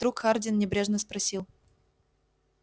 вдруг хардин небрежно спросил